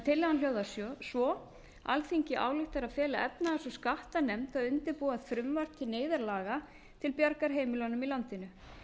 tillagan hljóðar svo alþingi ályktar að fela efnahags og skattanefnd að undirbúa frumvarp til neyðarlaga til bjargar heimilum í landinu